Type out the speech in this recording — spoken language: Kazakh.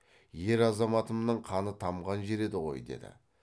ер азаматымның қаны тамған жер еді ғой деді